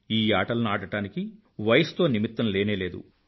ఈ ఆటలను ఆడడానికి వయసుతో నిమిత్తం లేనే లేదు